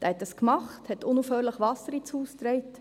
» Dieser tat dies und trug unaufhörlich Wasser ins Haus.